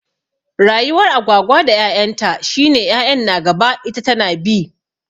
Rayuwar Agwagwa da 'ya'yan ta shi ne 'ya'yan na gaba ita tana bi.